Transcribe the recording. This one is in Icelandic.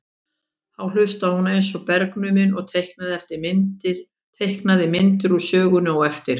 Þá hlustaði hún eins og bergnumin og teiknaði myndir úr sögunni á eftir.